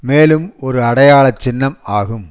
மேலும் ஒரு அடையாள சின்னம் ஆகும்